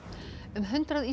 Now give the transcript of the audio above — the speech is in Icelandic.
um hundrað